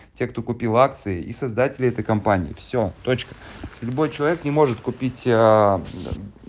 те кто купил акции и создатели этой компании все точка любой человек не может купить